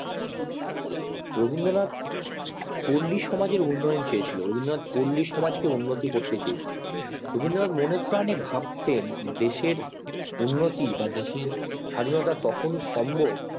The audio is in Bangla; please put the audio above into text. রবীন্দ্রনাথ পল্লী সমাজের উন্নন চেয়েছিলেন রবীন্দ্রনাথ পল্লী সমাজ কে উন্নতি করতে চেয়েছিলেন রবীন্দ্রনাথ মনে প্রাণে ভাবতেন দেশের উন্নতি বা দেশের স্বাধীনতা তখন ই সম্ভব